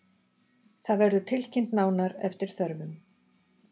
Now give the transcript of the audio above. Það verður tilkynnt nánar eftir þörfum